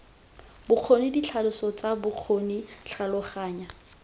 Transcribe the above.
bokgoni ditlhaloso tsa bokgoni tlhaloganya